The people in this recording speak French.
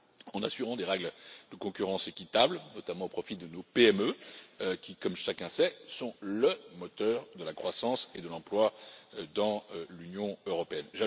En assurant des règles de concurrence équitable, notamment au profit de nos PME qui, comme chacun sait, sont le moteur de la croissance et de l'emploi dans l'Union européenne.